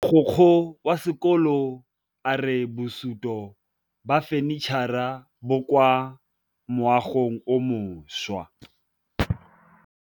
Mogokgo wa sekolo a re bosutô ba fanitšhara bo kwa moagong o mošwa.